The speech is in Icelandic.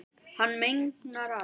Hann megnar allt.